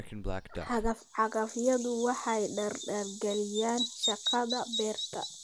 Cagaf-cagafyadu waxay dardargeliyaan shaqada beerta.